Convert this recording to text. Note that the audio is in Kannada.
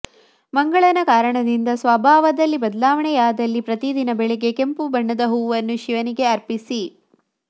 ಮಂಗಳನ ಕಾರಣದಿಂದ ಸ್ವಭಾವದಲ್ಲಿ ಬದಲಾವಣೆಯಾದಲ್ಲಿ ಪ್ರತಿದಿನ ಬೆಳಿಗ್ಗೆ ಕೆಂಪು ಬಣ್ಣದ ಹೂವನ್ನು ಶಿವನಿಗೆ ಅರ್ಪಿಸಿ